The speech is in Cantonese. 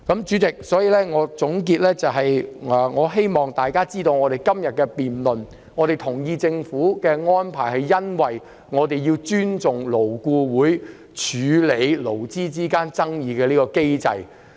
主席，作為總結，我希望大家明白在今天的辯論中，我們同意政府的安排，是由於我們要尊重勞顧會處理勞資爭議的機制。